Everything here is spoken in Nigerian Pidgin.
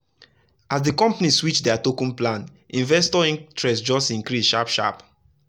as the company switch their token plan investor interest just increase sharp sharp.